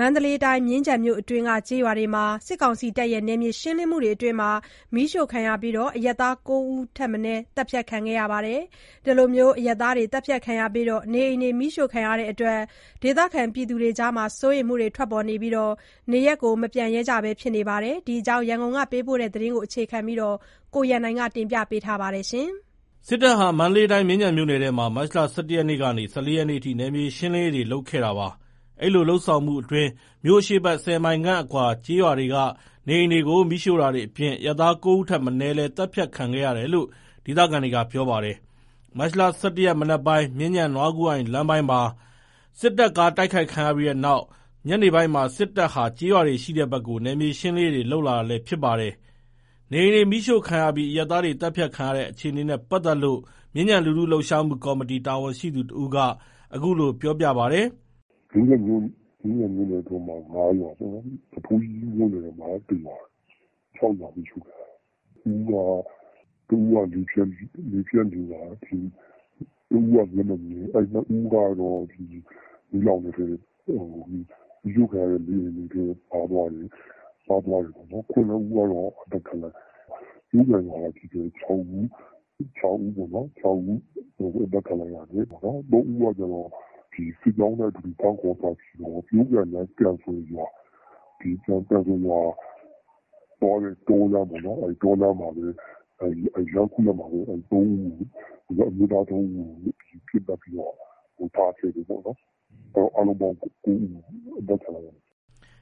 မန္တလေးတိုင်း၊ မြင်းခြံမြို့အတွင်းက ကျေးရွာတွေမှာ စစ်တပ်ရဲ့ နယ်မြေရှင်းလင်းရေးအတွင်း မီးရှို့ခံရပြီး အရပ်သား ၉ ဦးလည်း သတ်ဖြတ်ခံခဲ့ရပါတယ်။ အဲဒီလို အရပ်သားတွေ သတ်ဖြတ်ခံရပြီး နေအိမ်တွေ မီးရှို့ခံရတဲ့အတွက် ဒေသခံတွေအကြား စိုးရိမ်မှုတွေ ထွက်ပေါ်နေပြီး နေရပ်မပြန်နိုင် ဖြစ်နေပါတယ်။ ဒီအကြောင်း ရန်ကုန်ကပေးပို့သတင်းကို အခြေခံပြီး ကိုရန်နိုင်က ပြောပြပါမယ်။ စစ်တပ်ဟာ မန္တလေးတိုင်း မြင်းခြံမြို့နယ်ထဲမှာ မတ်လ ၁၁ ရက်ကနေ ၁၄ ရက်အထိ နယ်မြေရှင်းလင်းရေးတွေ လုပ်ခဲ့တာပါ။ အဲဒီလို လုပ်ဆောင်မှုအတွင်း မြို့အရှေ့ဘက် ၁၀ မိုင်ခန့်အကွာ ကျေးရွာတွေက နေအိမ်တွေကို မီးရှို့တာတွေအပြင် အရပ်သား ၉ ဦးထက်မနည်းလည်း သတ်ဖြတ်ခံခဲ့ရတယ်လို့ ဒေသခံတွေက ပြောပါတယ်။ မတ်လ ၁၁ ရက် မနက်ပိုင်း မြင်းခြံ နွားကူးအိုင် လမ်းပိုင်းမှာ စစ်တပ်ကား တိုက်ခိုက်ခံရပြီးနောက် ညနေပိုင်းမှာ စစ်တပ်ဟာ ကျေးရွာတွေ ရှိတဲ့ဘက်ကို နယ်မြေရှင်းလင်းရေးတွေ လုပ်လာတာလည်း ဖြစ်ပါတယ်။ နေအိမ်တွေ မီးရှို့ခံရပြီး အရပ်သားတွေ သတ်ဖြတ်ခံရတဲ့အခြေအနေနဲ့ ပတ်သက်လို့ မြင်းခြံလူထု လှုပ်ရှားမှု ကော်မတီ တာဝန်ရှိသူ တဦးက အခုလို ပြောပြပါတယ်။ “မြင်းခြံမြို့နယ်ထဲမှာ ၅ ရွာ၊ နွားထိုးကြီးမြို့နယ်ထဲမှာ ၁ ရွာ၊ ၆ ရွာမီးရှို့ခံရတယ်။ တဦးက လေဖြတ်နေတာ၊ တဦးက မျက်မမြင် ၂ ဦးက မီးလောင်တဲ့ထဲ ပါသွားတယ်။ မီးလောင်တဲ့ နေအိမ်တွေထဲ ပါသွားတယ်။ ၇ ဦးက သတ်ခံလိုက်ရတယ်။ ပျိုးကန်ရွာကပဲ ၆ ဦး အသတ်ခံလိုက်ရတယ်။ ၃ ဦးက စစ်ကြောင်းနဲ့အတူ ဖမ်းခေါ်သွားပြီးတော့ ပျိုးကန်နဲ့ ကန်စွယ်ရွာသွားတဲ့ တောလမ်းပေါ့နော်။ တောလမ်း လမ်းခုလတ်မှာပဲ အမျိုးသား ၃ ဦးကို ပစ်သတ်ပြီးတော့ ထားခဲ့တယ်ပေါ့နော်။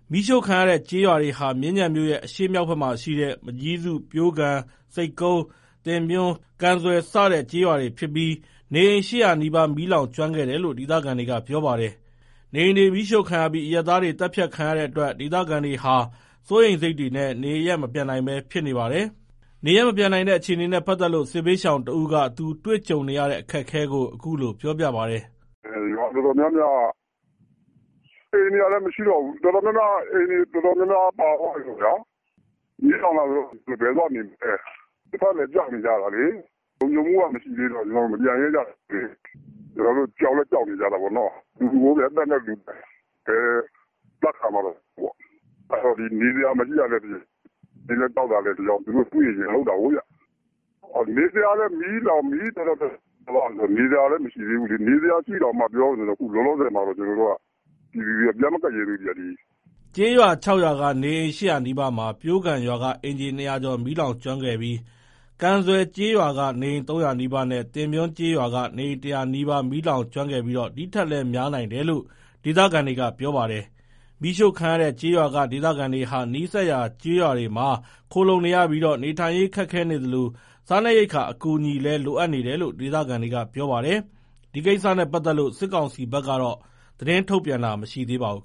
” မီးရှို့ခံရတဲ့ကျေးရွာတွေဟာ မြင်းခြံမြို့ရဲ့ အရှေ့မြောက်ဖက်မှာရှိတဲ့ မကျည်းစု ၊ ပျိုးကန် ၊ ဆိပ်ကုန်း ၊ သင်ပွန်း ၊ ကန်ဆွယ် စတဲ့ ကျေးရွာတွေဖြစ်ပြီး နေအိမ် ၈၀၀ နီးပါး မီးလောင်ကျွမ်းခဲ့တယ်လို့ ဒေသခံတွေက ပြောပါတယ်။ နေအိမ်တွေ မီးရှို့ခံရပြီး အရပ်သားတွေ သတ်ဖြတ်ခံရတဲ့အတွက် ဒေသခံတွေဟာ စိုးရိမ်စိတ်တွေနဲ့ နေရပ်မပြန်နိုင်ဘဲ ဖြစ်နေပါတယ်။ နေရပ်မပြန်နိုင်တဲ့ အခြေအနေနဲ့ ပတ်သက်လို့ စစ်ဘေးရှောင်တဦးက သူ ကြုံတွေနေရတဲ့အခက်အခဲကို အခုလို ပြောပြပါတယ်။ “ရွာတော်တော်များများက အိမ်တွေကလည်း မရှိတော့ဘူး။ အိမ်တွေ တော်တော်များများ ပါသွားတယ်ပေါ့ဗျာ။ မီးလောင်သွားတာဆိုတော့ ဘယ်သွားနေမလဲ၊ တချို့ကလည်း ကြောက်နေကြတာလေ။ လုံခြုံမှုက မရှိတော့ ကျွန်တော်တို့ မပြန်ရဲကြသေးဘူး။ ကျွန်တော်တို့ ကြောက်လည်း ကြောက်နေကြတာပေါ့နော်။ လူပဲအသက်နဲ့ဆိုတော့ ဘယ်အသတ်ခံပါ့မလဲ။ နေစရာ မရှိတာကလည်း တကြောင်း၊ ကြောက်တာကလည်း တကြောင်း၊ သူတို့က တွေ့ရင်လုပ်တာကိုး။ နေစရာမရှိတာက မီးလောင်သွားလို့။ နေစရာရှိရင်တောင် လောလောဆယ် ကျွန်တော်တို့က ပြန်မကပ်ရဲသေးဘူး။” ကျေးရွာ ၆ ရွာက နေအိမ် ၈၀၀ နီးပါးမှာ ပျိုးကန်ရွာက အိမ်ခြေ ၂၀၀ ကျော်မီးလောင်ကျွမ်းခဲ့ပြီး ကန်ဆွယ်ကျေးရွာက နေအိမ် ၃၀၀ နီးပါးနဲ့ သင်ပြွန်းကျေးရွာက နေအိမ် ၁၀၀ နီးပါး မီးလောင်ကျွမ်းခဲ့ပြီး ဒီ့ထက် များနိုင်တယ်လို့လည်း ဒေသခံတွေက ပြောပါတယ်။ မီးရှို့ခံရတဲ့ကျေးရွာက ဒေသခံတွေဟာ နီးစပ်ရာ ကျေးရွာတွေမှာ ခိုလှုံနေရပြီး နေထိုင်ရေးခက်ခဲနေသလို စားနပ်ရိက္ခာ အကူအညီတွေလည်း လိုအပ်နေတယ်လို့ ဒေသခံတွေက ပြောပါတယ်။ ဒီကိစ္စနဲ့ပတ်သက်လို့ စစ်ကောင်စီဘက်က သတင်းထုတ်ပြန်တာတော့ မရှိသေးပါဘူး။